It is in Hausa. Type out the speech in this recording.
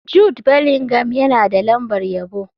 Jude Bellingham yana da lambar yabo.